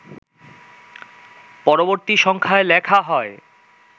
পরবর্তী সংখ্যায় লেখা হয়